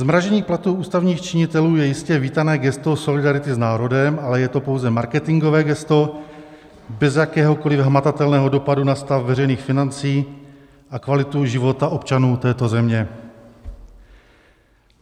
Zmrazení platů ústavních činitelů je jistě vítané gesto solidarity s národem, ale je to pouze marketingové gesto bez jakéhokoliv hmatatelného dopadu na stav veřejných financí a kvalitu života občanů této země.